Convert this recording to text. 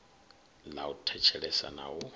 ḽa u thetshelesa na u